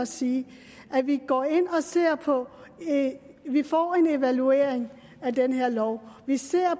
sige at vi går ind og ser på det vi får en evaluering af den her lov vi ser